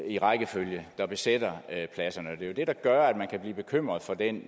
i rækkefølge der besætter pladserne og det er jo det der gør at man kan blive bekymret for den